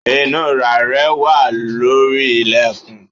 Inura rẹ wà lórí ilẹkun